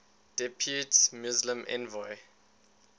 depute muslim envoy